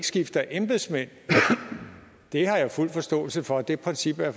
skifter embedsmænd det har jeg fuld forståelse for det princip er